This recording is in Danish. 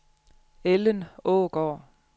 Ellen Aagaard